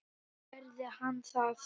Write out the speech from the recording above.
Og gerði hann það?